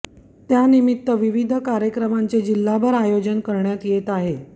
त्या निमित्त विविध कार्यक्रमांचे जिल्हाभर आयोजन करण्यात येत आहे